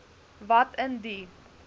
wat in die